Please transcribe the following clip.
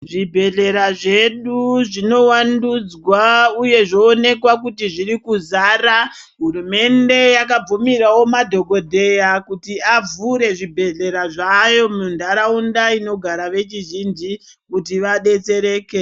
Zvibhedhlera zvedu zvowandudzwa uye zvooneka kuti zvirikuzara hurumende yakabvumirawo madhokodheya kuti vavhure zvibhedhlera zvayo muntaraunda inogara vechizhinji kuti vabetsereke.